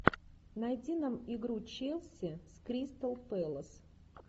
найди нам игру челси с кристал пэлас